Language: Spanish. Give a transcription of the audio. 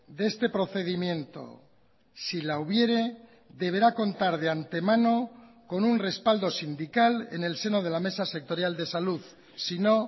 de este procedimiento si la hubiere deberá contar de antemano con un respaldo sindical en el seno de la mesa sectorial de salud si no